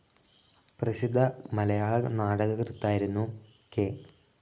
പ്രസിദ്ധ മലയാള നാടകകൃത്തായിരുന്നു കെ.